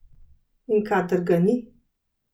In kadar ga ni?